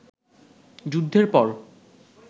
যুদ্ধের পর